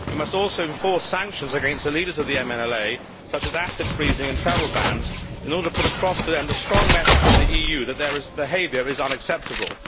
We must also enforce sanctions against the leaders of the MNLA such as asset freezes and travel bans in order to put across to them a strong message from the EU that their behaviour is unacceptable.